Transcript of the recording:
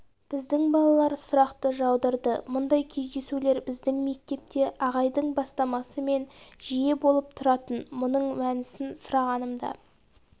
біздің балалар сұрақты жаудырды мұндай кездесулер біздің мектепте ағайдың бастамасымен жиі болып тұратын мұның мәнісін сұрағанымда